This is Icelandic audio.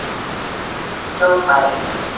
hljóðfæri